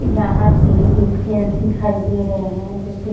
यहां पे एक जेंस दिखाई दे रहे हैं जो क --